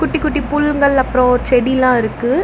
குட்டி குட்டி புல்ங்கள் அப்றோ ஒரு செடிலா இருக்கு.